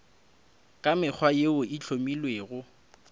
ka mekgwa yeo e hlomilwego